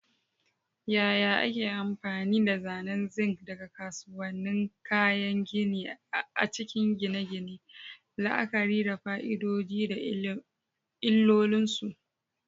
Yaya ake amfani da zanen zinc daga kasuwannin kayan gini a cikin gine-gine, la'akari da fa'idodi da illolinsu?